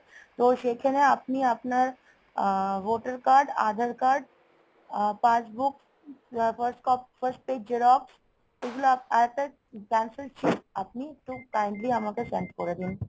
তো সেখানে আপনি আপনার uh voter card, aadhar card uh passbook , first page xerox এগুলা, আরেকটা cancel cheque আপনি একটু kindly আমাকে send করে দিন।